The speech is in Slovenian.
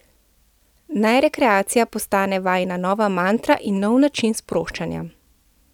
Naj rekreacija postane vajina nova mantra in nov način sproščanja.